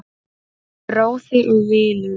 Bróðir og vinur.